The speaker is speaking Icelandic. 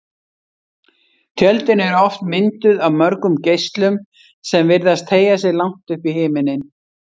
Tjöldin eru oft mynduð af mörgum geislum sem virðast teygja sig langt upp í himininn.